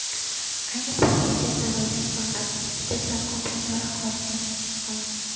Ayni paytgacha saroydan faqat ikkita tarqoq minora qolgan, xolos.